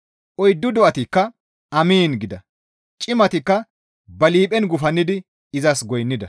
Oyddu do7atikka, «Amiin» gida. Cimatikka ba liiphen gufannidi izas goynnida.